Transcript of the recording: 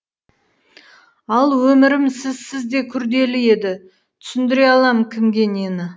ал өмірім сізсіз де күрделі еді түсіндіре аламын кімге нені